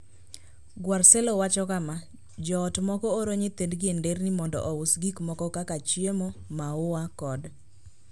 Guarcello wacho kama: "Joot moko oro nyithindgi e nderni mondo ous gik moko kaka chiemo, maua, kod.